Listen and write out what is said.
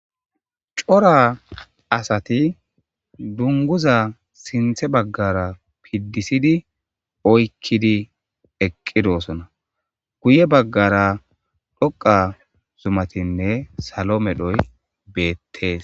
cora asati dunguza sinthe baggara piddisidi oykkidi eqqidosona guye baggara dhoqa zumatinne salo medhoy beettees